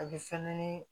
A bɛ fɛnɛ ni